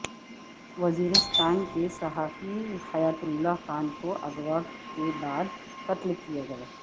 وزیرستان کے صحافی حیات اللہ خان کو اغوا کے بعد قتل کیا گیا